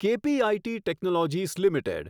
KPIT technologies limited